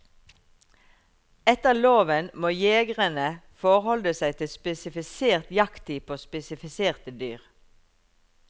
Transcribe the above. Etter loven må jegerne forholde seg til spesifisert jakttid på spesifiserte dyr.